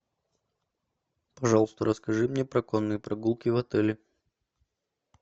пожалуйста расскажи мне про конные прогулки в отеле